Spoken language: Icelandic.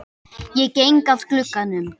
Ég geng að glugganum.